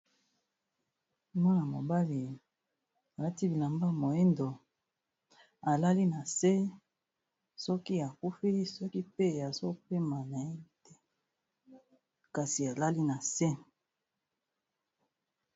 Mwana-mobali alati bilamba moyindo alali na se, soki akufi soki pe azo pema nayebi te kasi alali na se.